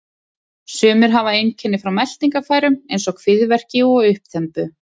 Sumir hafa einkenni frá meltingarfærum eins og kviðverki og uppþembu.